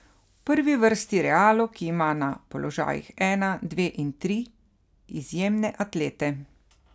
V prvi vrsti Realu, ki ima na položajih ena, dve in tri izjemne atlete.